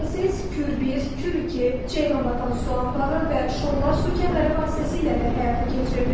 Proses Kür 1, Kür 2, Ceyranbatan su anbarı və Şollar su kəməri vasitəsilə də həyata keçirilir.